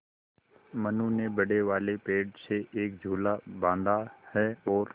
मनु ने बड़े वाले पेड़ से एक झूला बाँधा है और